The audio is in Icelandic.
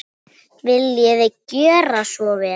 Viljiði gjöra svo vel.